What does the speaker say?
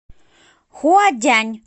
хуадянь